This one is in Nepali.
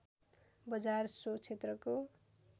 बजार सो क्षेत्रको